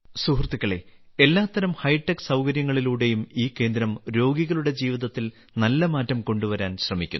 സുഹൃത്തുക്കളെ എല്ലാത്തരം ഹൈടെക് സൌകര്യങ്ങളിലൂടെയും ഈ കേന്ദ്രം രോഗികളുടെ ജീവിതത്തിൽ നല്ല മാറ്റം കൊണ്ടുവരാൻ ശ്രമിക്കുന്നു